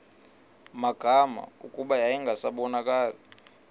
magama kuba yayingasabonakali